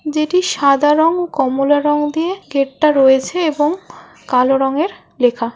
যেটি সাদা রং ও কমলা রং দিয়ে গেট টা রয়েছে এবং কালো রঙের লেখা।